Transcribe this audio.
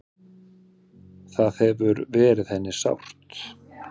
Það hefur verið henni sárt.